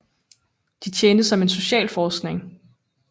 De tjente som en social forsikring